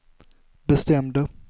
bestämde